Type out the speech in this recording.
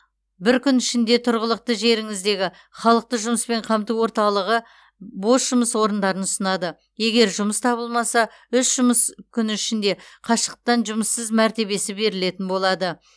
бір күн ішінде тұрғылықты жеріңіздегі халықты жұмыспен қамту орталығы бос жұмыс орындарын ұсынады егер жұмыс табылмаса үш жұмыс күні ішінде қашықтықтан жұмыссыз мәртебесі берілетін болады